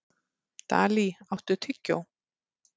Dalí, áttu tyggjó?